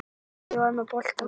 Ég var með boltann.